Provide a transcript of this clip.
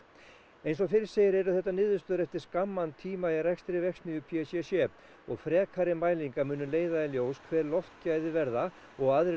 eins og fyrr segir eru þetta niðurstöður eftir skamman tíma í rekstri verksmiðju p c c og frekari mælingar munu leiða í ljós hver loftgæði verða og aðrir